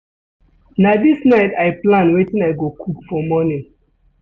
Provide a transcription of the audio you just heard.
Na dis night I plan wetin I go cook for morning.